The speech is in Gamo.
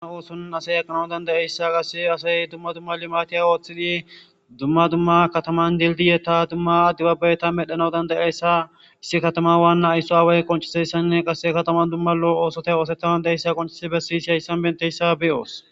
Um hoosunan asay aqqanau dandayeyssa qase asay dumma dumma limatiya ooththidi dumma dumma kataman dildiyetta dumma addibabbayta medhanau dandayeyssa issi katama waanna aysso away qonciseyssanne qasse katama dumma lo' oosota oosetha dandayeyssa qoncisi bessiyisi hayssan benteyssa beyoos.